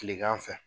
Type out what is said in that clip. Tilegan fɛ